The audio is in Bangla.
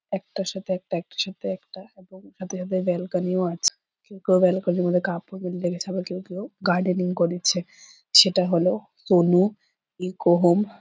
একটার সাথে একটা একটার সাথে একটা এবং সাথে সাথে বেলকনি ও আছে ওইটুকু বেলকনির মধ্যে কাপড় মেলতে গেছে। আবার কেউ কেউ গার্ডেনিং করছে সেটা হলো সনু ইকো হোম ।